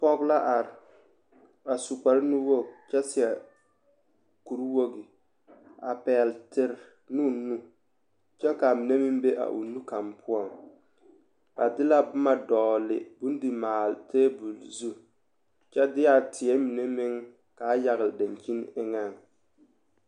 Pɔɡe la are a su kparnuwoɡi kyɛ seɛ kurwoɡi a pɛɡele tere ne o nu kyɛ ka a mine meŋ be a o nu kaŋ poɔŋ ba de la boma dɔɔle bondimaale teebul zu kyɛ de a teɛ mine meŋ ka a yaɡele daŋkyini eŋɛŋ.